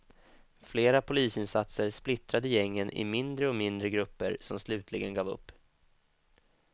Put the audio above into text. Flera polisinsatser splittrade gängen i mindre och mindre grupper som slutligen gav upp.